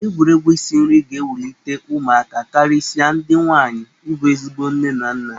Egwuregwu isi nri ga-ewulite ụmụaka karịsịa ndị nwaanyi ịbụ ezigbo nne na nna.